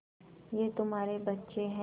ये तुम्हारे बच्चे हैं